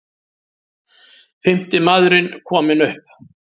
Fimmti maðurinn kominn upp